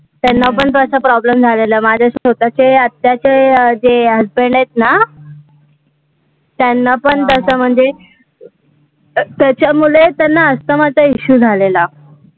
त्यांना पण तसा problem झालेला, माझ्या स्वतःच्या आत्त्याचे अं जे husband आहे ना, त्यांना पण तसं म्हणजे त्याच्यामुळे त्यांना asthma चा issue झालेला